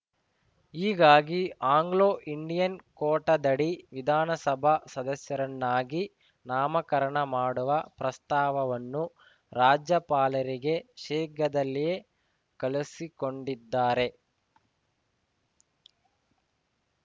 ಹೀಗಾಗಿ ಆಂಗ್ಲೋಇಂಡಿಯನ್‌ ಕೋಟಾದಡಿ ವಿಧಾನಸಭಾ ಸದಸ್ಯರನ್ನಾಗಿ ನಾಮಕರಣ ಮಾಡುವ ಪ್ರಸ್ತಾವವನ್ನು ರಾಜ್ಯಪಾಲರಿಗೆ ಶೀಘ್ರದಲ್ಲಿಯೇ ಕಳುಹಿಸಿಕೊಂಡಿದ್ದಾರೆ